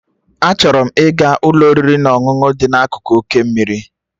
Achọrọ m ịga Ụlọ oriri na ọṅụṅụ dị n'akụkụ oké mmiri